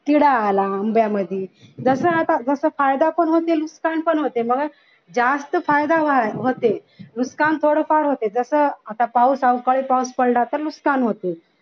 कीडा आला आंब्यामध्ये जस आता जस फायदा पण होते नुकसान पण होते मग जास्त फायदा होते नुकसान थोडंफार होते आता पाऊस अवकाळी पाऊस पडला तर नुकसान होते.